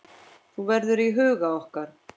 Þú verður í huga okkar.